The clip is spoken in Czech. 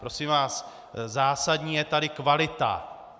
Prosím vás, zásadní je tady kvalita.